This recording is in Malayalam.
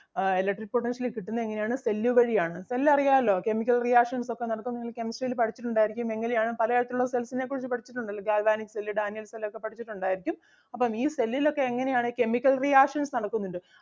ആഹ് electric potential കിട്ടുന്നത് എങ്ങനെ ആണ് cell വഴി ആണ് cell അറിയാല്ലോ chemical reaction ഒക്കെ നടത്തുന്നത് കെമിസ്ട്രിയിൽ പഠിച്ചിട്ടുണ്ടാരിക്കും എങ്ങനെ ആണ് പലതരത്തിൽ ഉള്ള cells നെ കുറിച്ച് പഠിച്ചിട്ടുണ്ടല്ലോ ഗാൽവാനിക് cell ഡാനിയേൽ cell ഒക്കെ പഠിച്ചിട്ടൊണ്ടാരിക്കും. അപ്പം ഈ cell ൽ ഒക്കെ എങ്ങനെ ആണ് chemical reactions നടക്കുന്നുണ്ട്